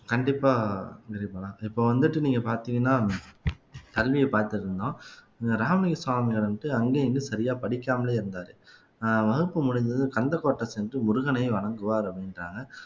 கண்டிப்பா கிரிபாலா இப்ப வந்துட்டு நீங்க பார்த்தீங்கன்னா கல்வியை பார்த்திருந்தோம் இந்த ராமலிங்க சுவாமி வந்துட்டு அங்கேயும் இங்கேயும் சரியா படிக்காமலே இருந்தாரு அஹ் வகுப்பு முடிஞ்சதும் கந்தக்கோட்டை சென்று முருகனை வணங்குவார் அப்படின்றாங்க